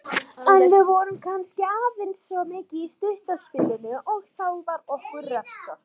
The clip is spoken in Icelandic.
En við vorum kannski aðeins of mikið í stutta spilinu og þá var okkur refsað.